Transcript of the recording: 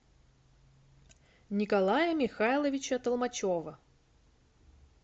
николая михайловича толмачева